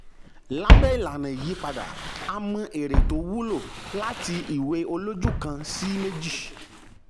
lábẹ́ ìlànà ìyípadà a mọ èrè tó wúlò láti ìwé olójú kan sí méjì.